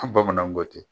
bamananw ko ten